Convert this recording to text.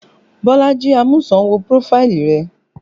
Bolaji Amusan wo prófáìlì rẹ